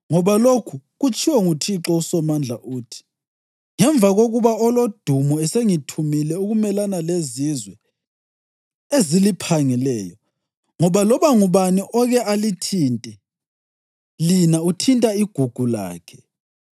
Ngoba lokhu kutshiwo nguThixo uSomandla, uthi: “Ngemva kokuba Olodumo esengithumile ukumelana lezizwe eziliphangileyo ngoba loba ngubani oke alithinte lina uthinta igugu lakhe